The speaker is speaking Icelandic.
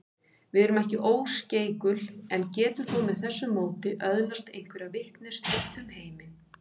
Við erum ekki óskeikul en getum þó með þessu móti öðlast einhverja vitneskju um heiminn.